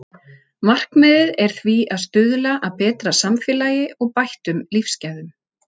Markmiðið er því að stuðla að betra samfélagi og bættum lífsgæðum.